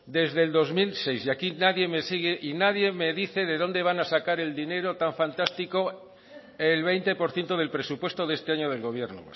desde el dos mil seis y aquí nadie me sigue y nadie me dice de dónde van a sacar el dinero tan fantástico el veinte por ciento del presupuesto de este año del gobierno